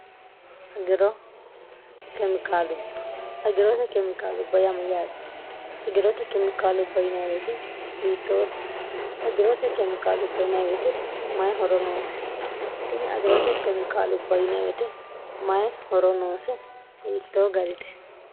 iragirote kemikaalubba yamu yaate agirote kemikaalubb wt hiittoote agirote kemikaalubb inwte mayi horonoose ini agirote kemikaalubb yinewte mayi horonooshe hiittoo garite